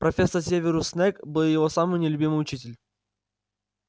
профессор северус снегг был его самый нелюбимый учитель